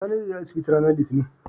Sani zai je asibiti ranar litinin